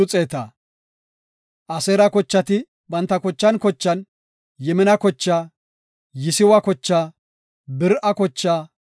Aseera kochati banta kochan kochan, Yimina kochaa, Yisiwa kochaa, Beri7a kochaa,